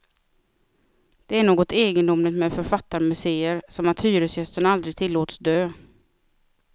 Det är något egendomligt med författarmuseer, som att hyresgästen aldrig tillåts dö.